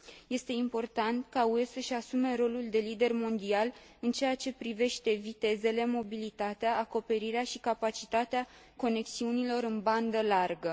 Este important ca UE să și asume rolul de lider mondial în ceea ce privește vitezele, mobilitatea, acoperirea și capacitatea conexiunilor în bandă largă.